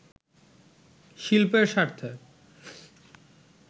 শিল্পের স্বার্থে